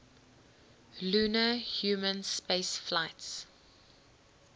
lunar human spaceflights